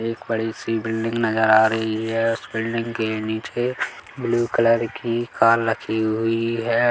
एक बड़ी- सी बिल्डिंग नज़र आ रही है उस बिल्डिंग के नीचे ब्लू कलर की कार रखी हुई हैं।